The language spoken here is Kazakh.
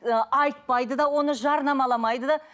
ыыы айтпайды да оны жарнамаламайды да